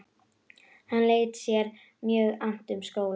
Hann lét sér mjög annt um skólann.